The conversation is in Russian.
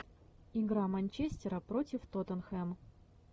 игра манчестера против тоттенхэм